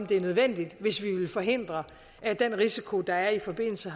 det er nødvendigt hvis vi vil forhindre den risiko der er i forbindelse